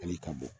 Hali ka bɔ